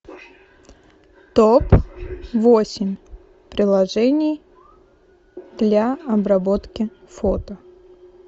топ восемь приложений для обработки фото